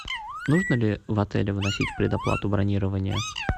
нужно ли в отеле вносить предоплату бронирования